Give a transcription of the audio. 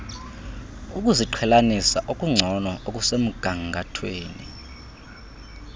ukuziqhelanisa okungcono okusemgangathweni